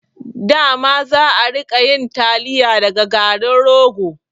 Dama za'a rika yin taliya daga garin rogo